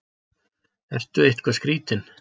Ertu eitthvað skrítinn?